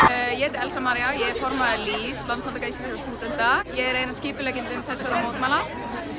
ég heiti Elsa María ég er formaður LÍS Landssamtaka íslenskra stúdenta ég er ein af skipuleggjendum þessara mótmæla